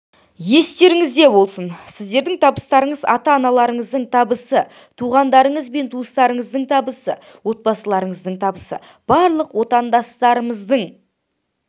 естеріңізде болсын сіздердің табыстарыңыз ата-аналарыңыздың табысы туғандарыңыз мен туыстарыңыздың табысы отбасыларыңыздың табысы барлық отандастарыңыздың